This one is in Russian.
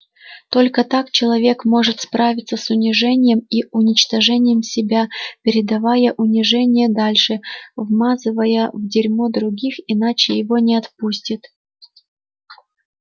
только так человек может справиться с унижением и уничтожением себя передавая унижение дальше вмазывая в дерьмо других иначе его не отпустит